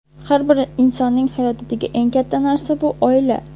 Har bir insonning hayotidagi eng katta narsa bu oila.